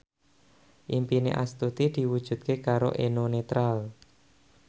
impine Astuti diwujudke karo Eno Netral